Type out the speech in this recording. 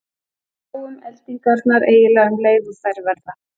Við sjáum eldingarnar eiginlega um leið og þær verða.